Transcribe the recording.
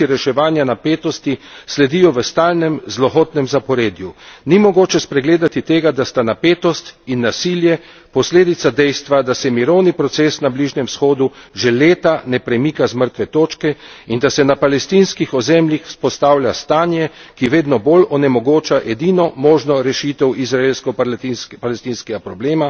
Ni mogoče spregledati tega, da sta napetost in nasilje posledica dejstva, da se mirovni proces na Bližnjem vzhodu že leta ne premika z mrtve točke in da se na palestinskih ozemljih vzpostavlja stanje, ki vedno blj onemogoča edino možno rešitev izraelsko palestinskega problema, dve državi, ki bi živeli v miru in medsebojnem priznanju.